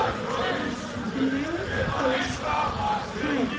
Mögnuð hönd.